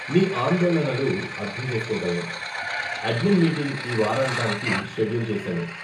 మీ ఆందోళనలు అర్ధం చేసుకోగలను, అడ్మిన్ మీటింగ్ ఈ వారాంతానికి షెడ్యూల్ చేసాను.